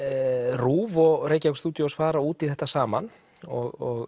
RÚV og Reykjavík studios fara út í þetta saman og